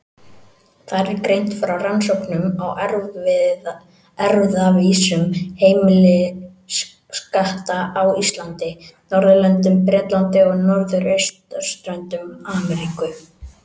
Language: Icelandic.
Þar er greint frá rannsóknum á erfðavísum heimiliskatta á Íslandi, Norðurlöndum, Bretlandi og norðausturströnd Ameríku.